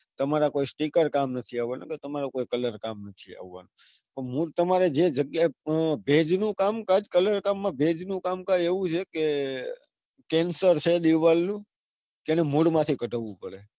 તમારા કોઈ sticker કામ નથી અવાના કે કોઈ colour કામ માં નથી અવાનો. પણ મૂળ તમારે જે જગ્યા ભેજ નું કામ કાજ colour કામમાં ભેજ નું કામકાજ એવું છે કે cancer છે દીવાલ નું જેને મૂળમાંથી ગઢવું પડે.